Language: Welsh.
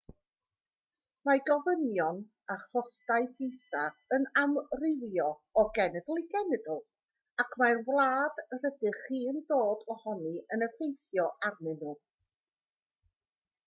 mae gofynion a chostau fisa yn amrywio o genedl i genedl ac mae'r wlad rydych chi'n dod ohoni yn effeithio arnyn nhw